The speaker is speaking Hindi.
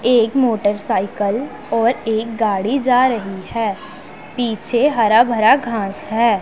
एक मोटरसाइकल और एक गाड़ी जा रही है पीछे हरा भरा घास है।